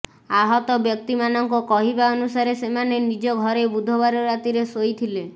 ଆହତ ବ୍ୟକ୍ତିମାନଙ୍କ କହିବା ଅନୁସାରେ ସେମାନେ ନିଜ ଘରେ ବୁଧବାର ରାତିରେ ଶୋଇଥିଲେ